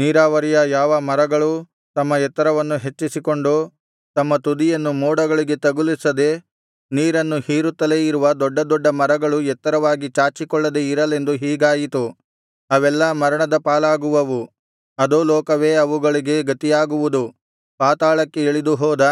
ನೀರಾವರಿಯ ಯಾವ ಮರಗಳೂ ತಮ್ಮ ಎತ್ತರವನ್ನು ಹೆಚ್ಚಿಸಿಕೊಂಡು ತಮ್ಮ ತುದಿಯನ್ನು ಮೋಡಗಳಿಗೆ ತಗುಲಿಸದೆ ನೀರನ್ನು ಹೀರುತ್ತಲೇ ಇರುವ ದೊಡ್ಡದೊಡ್ಡ ಮರಗಳು ಎತ್ತರವಾಗಿ ಚಾಚಿಕೊಳ್ಳದೆ ಇರಲೆಂದು ಹೀಗಾಯಿತು ಅವೆಲ್ಲಾ ಮರಣದ ಪಾಲಾಗುವುವು ಅಧೋಲೋಕವೇ ಅವುಗಳಿಗೆ ಗತಿಯಾಗುವುದು ಪಾತಾಳಕ್ಕೆ ಇಳಿದು ಹೋದ